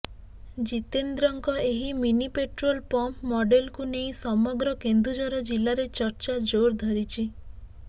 ଜିତେନ୍ଦ୍ରଙ୍କ ଏହି mini petrol pump ମଡେଲକୁ ନେଇ ସମଗ୍ର କେନ୍ଦୁଝର ଜିଲ୍ଲାରେ ଚର୍ଚ୍ଚା ଜୋର ଧରିଛି